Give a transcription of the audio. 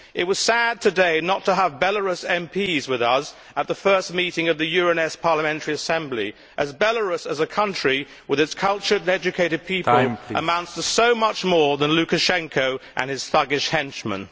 It was sad today not to have Belarus MPs with us at the first meeting of the Euronest Parliamentary Assembly, as Belarus as a country, with its cultured and educated people, amounts to so much more than Lukashenko and his thuggish henchmen.